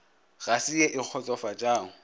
ga se ye e kgotsofatšago